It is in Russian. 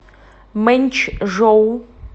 мэнчжоу